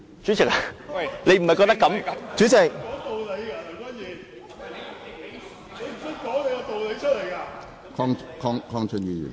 主席，你不是這樣吧。